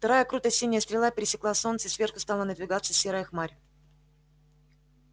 вторая круто-синяя стрела пересекла солнце и сверху стала надвигаться серая хмарь